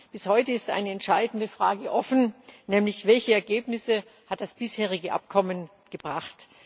Bis heute ist eine entscheidende Frage offen, nämlich Welche Ergebnisse hat das bisherige Abkommen gebracht?